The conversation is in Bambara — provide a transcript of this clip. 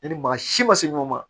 Yanni maa si ma se ɲɔgɔn ma